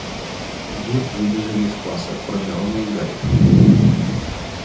вы выбежали из класса кроме рона и гарри